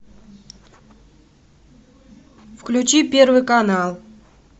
включи первый канал